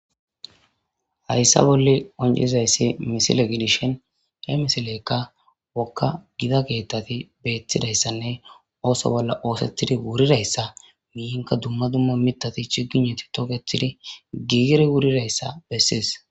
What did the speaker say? hayssa bolle oncizayssi misile gidishin he misileykka wokka gida geettati beethtidayssanne ooso bolla oosettidi wurirayssa minka dumma dumma mitati chigineti toketidi giigiri wurirayssa besses.